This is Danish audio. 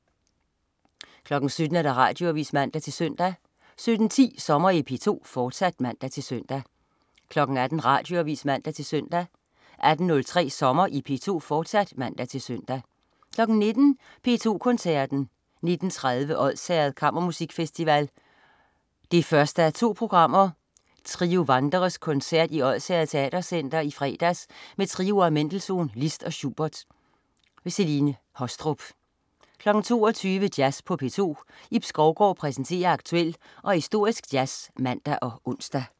17.00 Radioavis (man-søn) 17.10 Sommer i P2, fortsat (man-søn) 18.00 Radioavis (man-søn) 18.03 Sommer i P2, fortsat (man-søn) 19.00 P2 Koncerten. 19.30 Odsherred Kammermusikfestival 1:2. Trio Wanderers koncert i Odsherred Teatercenter i fredags med trioer af Mendelssohn, Liszt og Schubert. Celine Haastrup 22.00 Jazz på P2. Ib Skovgaard præsenterer aktuel og historisk jazz (man og ons)